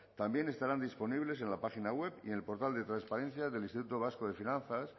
también estarán disponibles en la página web y en el portal de transparencia del instituto vasco de finanzas